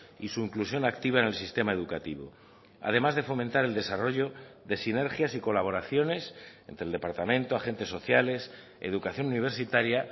y su inclusión activa en el sistema educativo además de fomentar el desarrollo de sinergias y colaboraciones entre el departamento agentes sociales educación universitaria